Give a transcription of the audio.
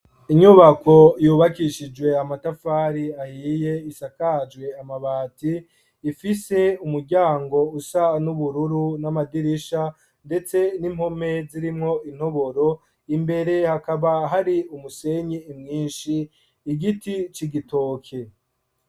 Inyubako, yubakishijwe amatafari, ahiye, isakajwe amabati; ifise umuryango, usa n'ubururu, n'amadirisha, ndetse n'impome, zirimwo intoboro; imbere, hakaba hari, umusenyi mwinshi, igiti c'igitoke.